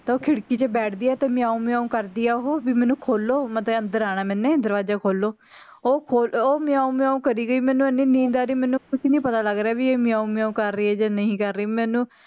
ਉਹ ਖਿੜਕੀ ਚ ਬੈਠਦੀ ਆ ਤੇ ਮਿਆਉਂ ਮਿਆਉਂ ਕਰਦੀ ਆ ਓਹੋ ਵੀ ਮੈਂਨੂੰ ਖੋਲੋ ਮਤਲਬ ਅੰਦਰ ਆਣਾ ਮੈਂਨੂੰ ਦਰਵਾਜ਼ਾ ਖੋਲੋ ਉਹ ਖੋਲ ਓਹ ਮਿਆਉਂ ਮਿਆਉਂ ਕਰੀ ਗਈ ਮੈਂਨੂੰ ਐਨੀ ਨੀਂਦ ਆਰੀ ਮੈਂਨੂੰ ਕੁੱਛ ਨੀ ਪਤਾ ਲੱਗ ਰਿਹਾ ਵੀ ਏਹੇ ਮਿਆਉਂ ਮਿਆਉਂ ਕਰ ਰਹੀ ਹੈ ਜਾਂ ਨਹੀਂ ਕਰ ਰਹੀ